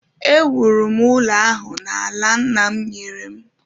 Ewuru m ụlọ ahụ n’ala nna m nyere m